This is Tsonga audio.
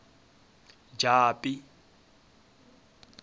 japi